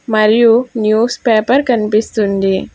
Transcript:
మరియు newspaper కనిపిస్తుంది.